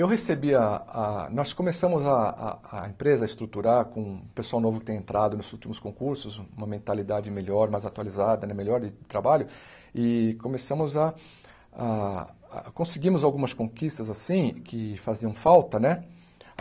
Eu recebi a a... Nós começamos a a a empresa a estruturar com o pessoal novo que tem entrado nos últimos concursos, uma mentalidade melhor, mais atualizada né, melhor de trabalho, e começamos a a... Conseguimos algumas conquistas, assim, que faziam falta, né?